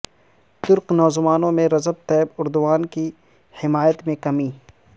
ترک نوجوانوں میں رجب طیب اردوان کی حمایت میں کمی